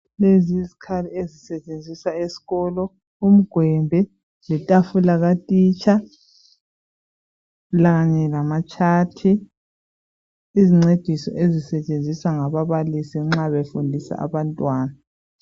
Izikhali ezisetshenziswa esikolo umgwembe letafula katitsha kanye lama tshathi izincediso ezisetshenziswa ngababalisi nxa befundisa abantwana.